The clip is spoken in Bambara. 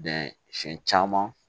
siɲɛ caman